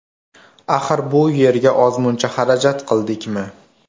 Axir, bu yerga ozmuncha xarajat qildik-mi?